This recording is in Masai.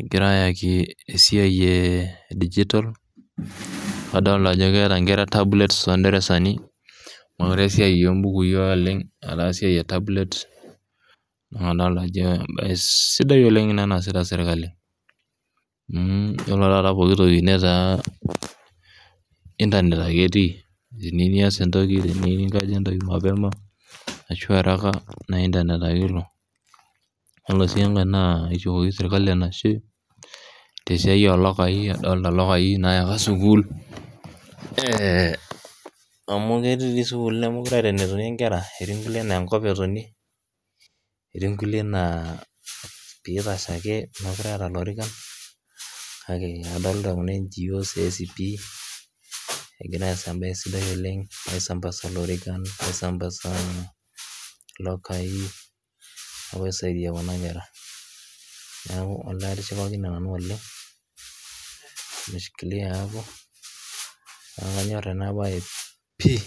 egira ayaki esiai eh digital kadolta ajo keeta inkera tablets tonderasani mokure esiai ombukui oleng etaa esiai e tablets naa kadolta ajo embaye sidai oleng ena naasita sirkali mh yiolo taata pokitoki netaa internet ake etii teniu nias entoki teniu ninkaja entoki mapema ashu araka naa internet ake ilo yiolo sii enkae naa kishukoki sirkali enashe tesiai olokai adolta ilokai naa oyaka sukuul eh amu ketii dii sukuul nemokure eeta enetonie inkera etii inkulie nenkop etonie etii inkulie naa pitashe ake mekure eeta ilorikan kake adolita kuna NGOs esipi egira aas embaye sidai oleng aisambasa ilorikan aisambasa uh ilokai apuo aisaidia kuna kera niaku olee atishipakine nanu oleng nimeshikilia hapo niaku kanyorr ena baye pii.